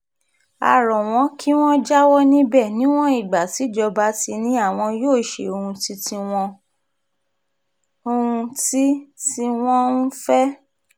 a rọ̀ wọ́n kí wọ́n jáwọ́ níbẹ̀ níwọ̀n ìgbà tíjọba ti ní àwọn yóò ṣe ohun tí tí wọ́n ń fẹ́